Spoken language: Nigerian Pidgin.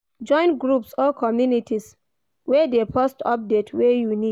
Join groups or communities wey de post update wey you need